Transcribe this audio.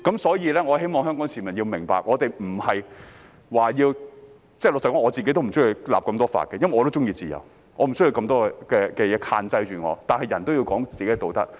所以，我希望香港市民明白，我們不是說要......老實說，我也不喜歡訂立那麼多法例，因為我也喜歡自由，我不想有諸多限制，但人需要談道德。